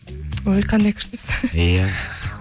ой қандай күштісіз иә